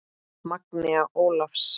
Magnea Ólafs.